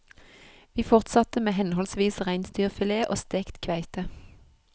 Vi fortsatte med henholdsvis reinsdyrfilet og stekt kveite.